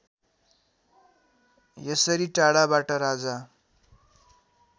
यसरी टाढाबाट राजा